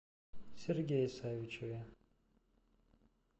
сергее савичеве